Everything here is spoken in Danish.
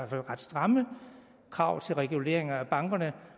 fald ret stramme krav til reguleringen af bankerne